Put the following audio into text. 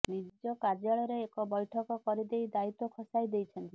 ନିଜ କାର୍ଯ୍ୟାଳୟରେ ଏକ ବୈଠକ କରିଦେଇ ଦାୟିତ୍ବ ଖସାଇ େଦଇଛନ୍ତି